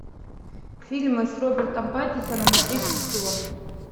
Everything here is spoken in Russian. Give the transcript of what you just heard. фильмы с робертом паттинсоном и кристи стюарт